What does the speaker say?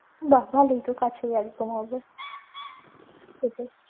বাঃ ভালোই তো কাছেই একদম হবে